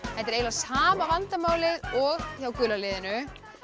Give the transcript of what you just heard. þetta er eiginlega sama vandamálið og hjá gula liðinu